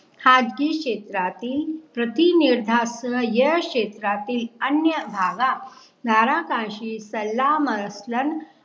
खाजगी क्षेत्रातील प्रतिनिर्धास्त या क्षेत्रातील अन्य धागा नारा काशी तल्ला मार्सलं